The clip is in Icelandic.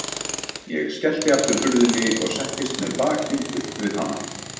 Ég skellti aftur hurðinni og settist með bakið upp við hana.